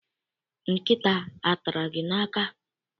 Nkịta atara gị n'aka?